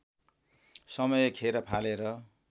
समय खेर फालेर